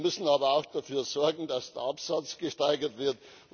Wir müssen aber auch dafür sorgen, dass der Absatz gesteigert wird.